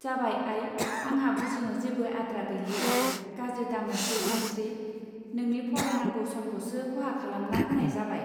जाबाय आई आंहा बुजिनो जेबो आद्रा गैलिया गाज्रि दामोनसै सानस्त्रि नोंनि फरायनांगौ समखौसो खहा खालामना होनाय जाबाय.